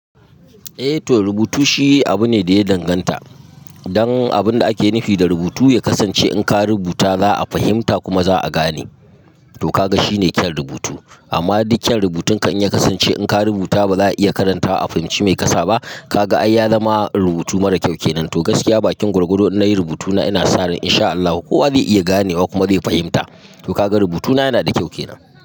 Eh to rubutu shi abu ne da ya danganta dan abun da ake nufi da rubutu ya kasance in ka rubuta za a fahimta kuma za a gane. To ka ga shine kyan rubutu. Amma dukkyan rubutun kan ya kasance in ka rubuta ba za a iya karanta wa a fahimci mai kasa ba, ka ga ai ya zama rubutu mara kyau kenan. To gaskiya bakin gwargwado na yi rubutuna ina sa ran in sha Allah kowa zai iya ganewa kuma zai fahimta. To ka ga rubutuna yana da kyau kenan.